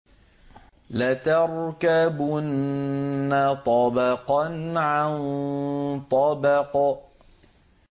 لَتَرْكَبُنَّ طَبَقًا عَن طَبَقٍ